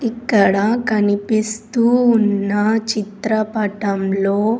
ఇక్కడ కనిపిస్తూ ఉన్న చిత్రపటంలో --